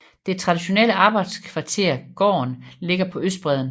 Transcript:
Det traditionelle arbejderkvarter Gaarden ligger på østbredden